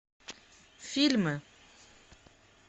фильмы